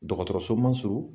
Dɔgɔtɔrɔso man surun?